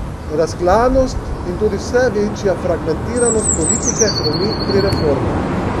Razklanost in tudi vse večja fragmentiranost politike hromi pri reformah.